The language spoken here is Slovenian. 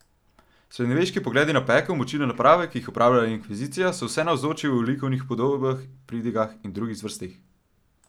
Srednjeveški pogledi na pekel, mučilne naprave, ki jih je uporabljala inkvizicija, so vsenavzoči v likovnih upodobitvah, pridigah in drugih zvrsteh.